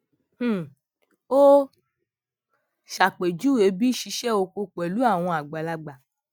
um ó ṣàpèjúwe bí ṣíṣe oko pẹlú àwọn àgbàlagbà